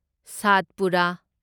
Satpura